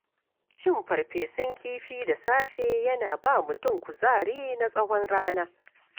Cin farfesun kifi da safe yana ba mutum kuzari na tsawon rana.